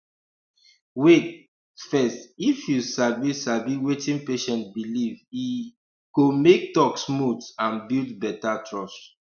wait um fess if you sabi sabi wetin patient believe e um go make talk smooth and build better trust